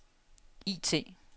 IT